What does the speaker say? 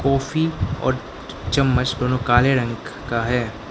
काफी और चम्मच दोनों काले रंग का है।